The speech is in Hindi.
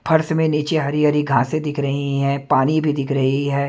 फर्स नीचे हरी-हरी घांसे दिख रही हैं पानी भी दिख रही है।